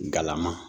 Galama